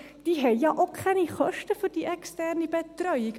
Die haben ja auch keine Kosten für die externe Betreuung!